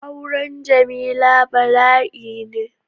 Auren Jamila bala'i ne.